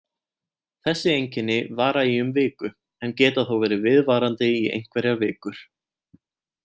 Þessi einkenni vara í um viku en geta þó verið viðvarandi í einhverjar vikur.